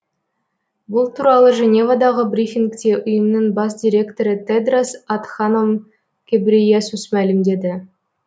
бұл туралы женевадағы брифингте ұйымның бас директоры тедрос адханом гебрейесус мәлімдеді